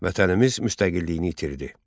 Vətənimiz müstəqilliyini itirdi.